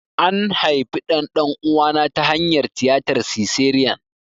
An haifi ɗan ɗan'uwana ta hanyar tiyatar siseriyan.